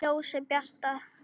Ljósið bjarta!